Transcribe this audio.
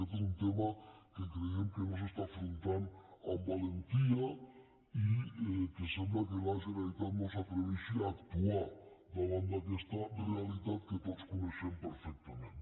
aquest és un tema que creiem que no s’està afrontant amb valentia i que sembla que la generalitat no s’atreveixi a actuar davant d’aquesta realitat que tots coneixem perfectament